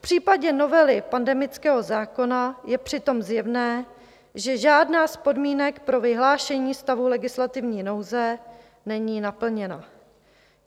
V případě novely pandemického zákona je přitom zjevné, že žádná z podmínek pro vyhlášení stavu legislativní nouze není naplněna.